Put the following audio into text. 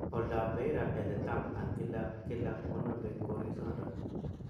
oldap Beira ele tam an kila ag kila koname korisindon.